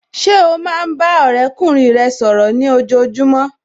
Ṣé o máa ń bá ọ̀rẹ́kùnrin rẹ sọ̀rọ̀ ní ojojúmọ́